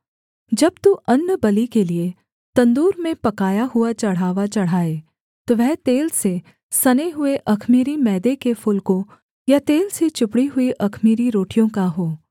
जब तू अन्नबलि के लिये तंदूर में पकाया हुआ चढ़ावा चढ़ाए तो वह तेल से सने हुए अख़मीरी मैदे के फुलकों या तेल से चुपड़ी हुई अख़मीरी रोटियाँ का हो